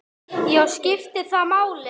Já, skiptir það máli?